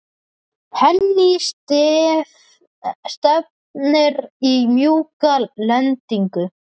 Henný, stefnir í mjúka lendingu?